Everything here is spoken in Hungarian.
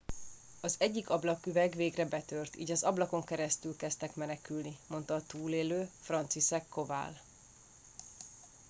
az egyik ablaküveg végre betört így az ablakon keresztül kezdtek menekülni mondta a túlélő franciszek kowal